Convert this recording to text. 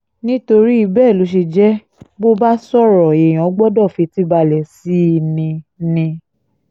nítorí bẹ́ẹ̀ ló ṣe jẹ́ bó bá sọ̀rọ̀ èèyàn gbọ́dọ̀ fetí balẹ̀ sí i ni i ni